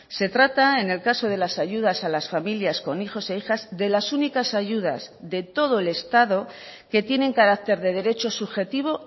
se trata en el caso de las ayudas a las familias con hijos e hijas de las únicas ayudas de todo el estado que tienen carácter de derecho subjetivo